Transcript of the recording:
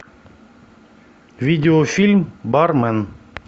видеофильм бармен